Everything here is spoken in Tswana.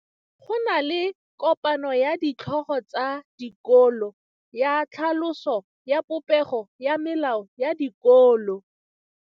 Go na le kopanô ya ditlhogo tsa dikolo ya tlhaloso ya popêgô ya melao ya dikolo.